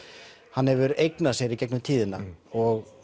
hann hefur eignað sér í gegnum tíðina og